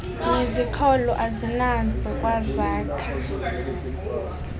neziqholo azinazo kwazakha